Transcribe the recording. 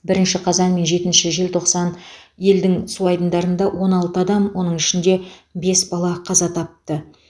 бірінші қазан мен жетінші желтоқсан елдің су айдындарында он алты адам оның ішінде бес бала қаза тапты